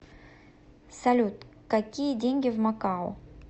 салют какие деньги в макао